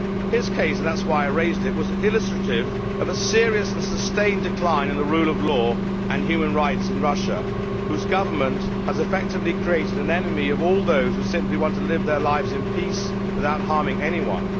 His case, and that is why I raised it, was illustrative of a serious and sustained decline in the rule of law and human rights in Russia, whose government has effectively created an enemy of all those who simply want to live their lives in peace without harming anyone.